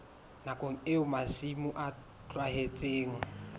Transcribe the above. nakong eo masimo a tlohetsweng